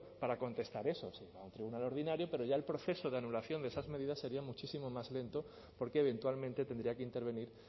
para contestar eso a un tribunal ordinario pero ya el proceso de anulación de esas medidas sería muchísimo más lento porque eventualmente tendría que intervenir